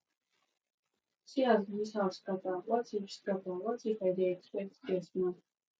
see as dis house scatter what if scatter what if i dey expect guest now